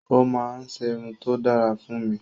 O máa ń ṣerun tó dára fún mi